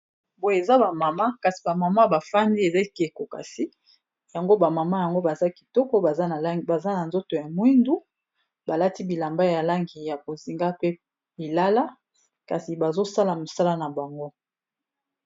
Boye eza ba mama kasi ba mama bafandi eza ekeko kasi yango ba mama yango baza kitoko, baza na nzoto ya mwindu balati bilamba ya lange ya bozinga pe bilala, kasi bazosala mosala na bango.